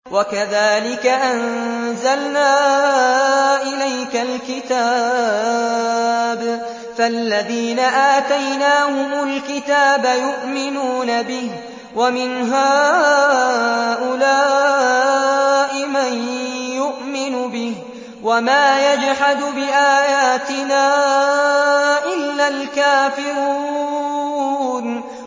وَكَذَٰلِكَ أَنزَلْنَا إِلَيْكَ الْكِتَابَ ۚ فَالَّذِينَ آتَيْنَاهُمُ الْكِتَابَ يُؤْمِنُونَ بِهِ ۖ وَمِنْ هَٰؤُلَاءِ مَن يُؤْمِنُ بِهِ ۚ وَمَا يَجْحَدُ بِآيَاتِنَا إِلَّا الْكَافِرُونَ